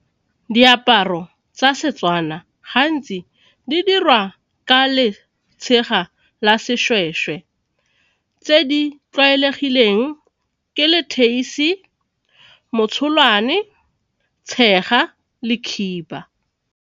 Diaparo tsa Setswana gantsi di dirwa ka letshega la seshweshwe tse di tlwaelegileng ke leteisi, motsholwane, tshega le khiba.